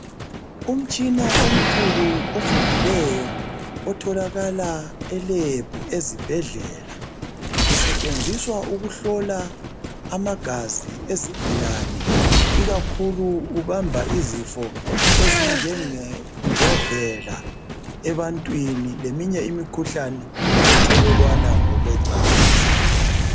Umtshina omkhulu ofundileyo otholakala e Lab ezibhedlela. Kusetshenziswa ukuhlola amagazi ezigulane ikakhulu ubamba izifo ezinjenge njovela ebantwini leminye imikhuhlane ethelelwana ngokwe cansi.